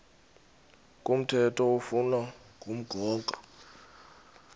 komthetho oflunwa ngumgago